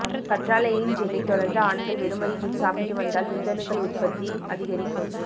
கற்றாழையின் ஜெல்லை தொடர்ந்து ஆண்கள் வெறும் வயிற்றில் சாப்பிட்டு வந்தால் விந்தணுக்கள் உற்பத்தி அதிகரிக்கும்